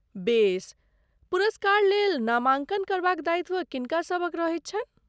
बेस, पुरस्कार लेल नामाङ्कन करबाक दायित्व किनका सभक रहैत छनि?